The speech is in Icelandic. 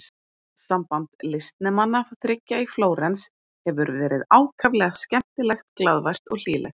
Samband listnemanna þriggja í Flórens hefur verið ákaflega skemmtilegt, glaðvært og hlýlegt.